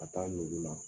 Ka taa nugu la